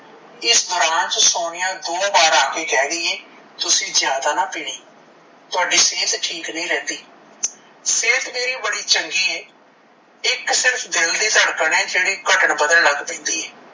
ਇਸ ਦੋਰਾਨ ਚ ਸੋਨੀਆ ਦੋ ਵਾਰ ਆਕੇ ਕਿਹ ਗਈ ਏ ਤੁਸੀਂ ਜਾਦਾ ਨਾਂ ਪੀਣੀ, ਤੁਹਾਡੀ ਸਹਿਤ ਠੀਕ ਨੀ ਰਹਿੰਦੀ ਸਹਿਤ ਮੇਰੀ ਬੜੀ ਚੰਗੀ ਏ ਇੱਕ ਸਿਰਫ ਦਿਲ ਦੀ ਧੜਕਨ ਏ ਜੇੜੀ ਘਟਣ ਵਧਣ ਲੱਗ ਪੈਂਦੀ ਏ